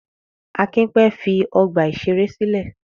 Akin pẹ́ fi ọgbà-ìṣeré sílẹ̀.